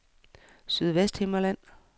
Sydvesthimmerland